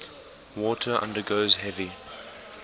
water undergoes heavy